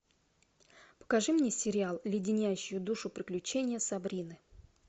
покажи мне сериал леденящие душу приключения сабрины